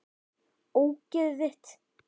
Ógeðið þitt!!